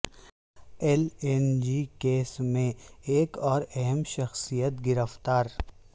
L N G case میں ایک اور اہم شخصیت گرفتار